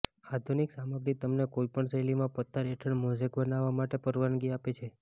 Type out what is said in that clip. આધુનિક સામગ્રી તમને કોઈપણ શૈલીમાં પથ્થર હેઠળ મોઝેક બનાવવા માટે પરવાનગી આપે છે